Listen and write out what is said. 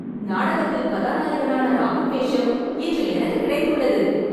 நாடகத்தில் கதாநாயகனான ராமன் வேஷம் இன்று எனக்கு கிடைத்துள்ளது